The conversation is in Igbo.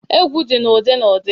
Egwu dị na ụdị n'ụdị.